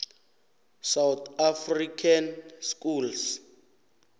south african schools